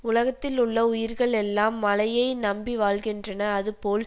உலகத்தில் உள்ள உயிர்கள் எல்லாம் மழையை நம்பி வாழ்கின்றன அதுபோல்